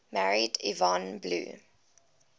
married yvonne blue